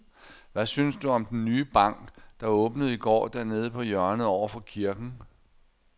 Hvad synes du om den nye bank, der åbnede i går dernede på hjørnet over for kirken?